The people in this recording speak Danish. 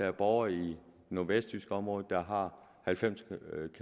er borgere i det nordvestjyske område der har halvfems